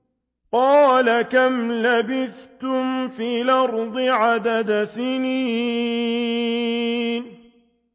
قَالَ كَمْ لَبِثْتُمْ فِي الْأَرْضِ عَدَدَ سِنِينَ